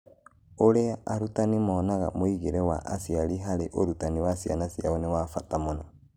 Ũrĩa arutani monaga mũingĩre wa aciari harĩ ũrutani wa ciana ciao nĩ wa bata mũno